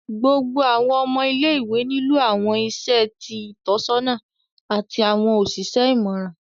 Gbogbo awọn ọmọ ile-iwe nilo awọn iṣẹ ti Itọsọna ati awọn oṣiṣẹ imọran